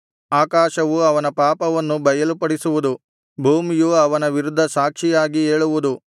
ಆಕಾಶವು ಅವನ ಪಾಪವನ್ನು ಬಯಲುಪಡಿಸುವುದು ಭೂಮಿಯು ಅವನ ವಿರುದ್ಧ ಸಾಕ್ಷಿಯಾಗಿ ಏಳುವುದು